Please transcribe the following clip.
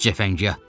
Cəfəngiyyatdı.